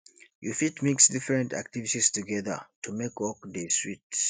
you fit mix different activities together to make work dey sweet